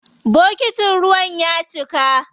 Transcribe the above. Bokitin ruwan ya cika.